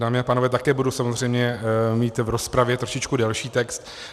Dámy a pánové, také budu samozřejmě mít v rozpravě trošičku delší text.